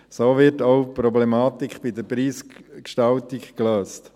So wird auch die Problematik in der Preisgestaltung gelöst.